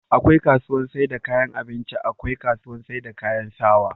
akwai kasuwar saida kayan abinci akwai kasuwar saida kayan sawaa